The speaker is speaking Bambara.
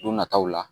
Don nataw la